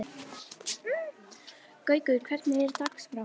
Gaukur, hvernig er dagskráin?